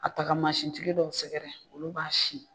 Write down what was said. A ta ka manstigi dɔw sɛgɛrɛ olu b'a sin.